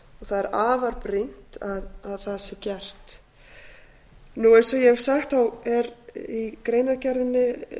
er afar brýnt að það sé gert eins og ég hef sagt er í greinargerðinni